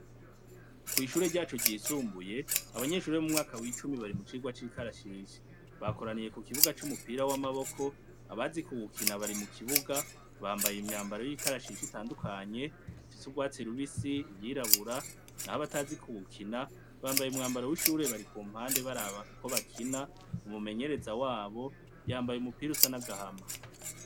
Kwishure ryacu ryisumbuye abanyeshure bo mumwaka wicumi bari mucirwa cikarashishi bakoraniye kukibuga cumupira wamaboko abazi kuwukina bari mukibuga bambaye imyambaro yikarashishi itandukanye ifise urwatsi rubisi iryirabura nahabatazi kuwukina bambaye umwambaro wishure bari kumpande baraba uko bakina umumenyereza wabo yambaye umupira usa nagahama